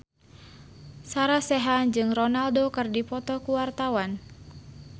Sarah Sechan jeung Ronaldo keur dipoto ku wartawan